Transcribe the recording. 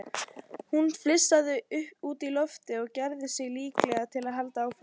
Hún flissaði út í loftið og gerði sig líklega til að halda áfram.